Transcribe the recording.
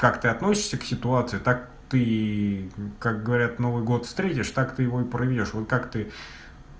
как ты относишься к ситуации так ты как говорят новый год встретишь так ты его и проведёшь вот как ты